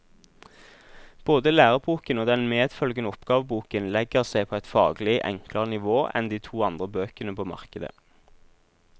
Både læreboken og den medfølgende oppgaveboken legger seg på et faglig enklere nivå enn de to andre bøkene på markedet.